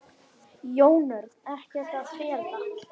Jón Örn: Ekkert að fela?